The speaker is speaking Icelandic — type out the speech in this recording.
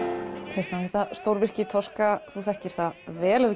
Kristján þetta stórvirki þú þekkir það vel og